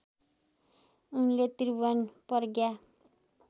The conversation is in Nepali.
उनले त्रिभुवन प्रज्ञा